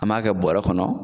An b'a kɛ bɔrɛ kɔnɔ